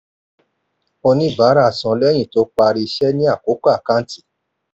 oníbárà san lẹ́yìn tó parí iṣẹ́ ni àkókò àkántì.